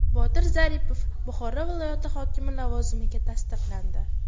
Botir Zaripov Buxoro viloyati hokimi lavozimiga tasdiqlandi.